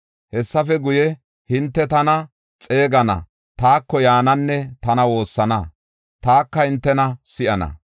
Hessafe guye, hinte tana xeegana; taako yaananne tana woossana; taka hintena si7ana.